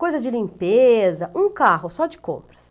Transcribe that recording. Coisa de limpeza, um carro só de compras.